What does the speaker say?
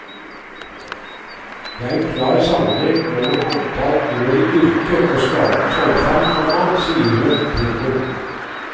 Det er en klar sammenheng mellom antall år i yrket og skadens omfang, komma sier hun. punktum